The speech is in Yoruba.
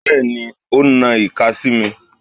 Bẹ́ẹ̀ni, ó na ìka sí mi.